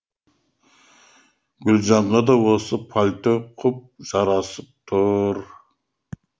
гүлжанға да осы пальто құп жарасып тұр